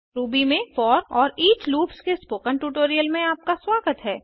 Ruby में for और each loops के स्पोकन ट्यूटोरियल में आपका स्वागत है